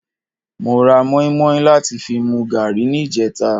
Mo ra mọ́ímọ́í láti fi mu gààrí ní ìjẹta